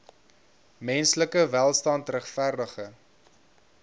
menslike welstand regverdige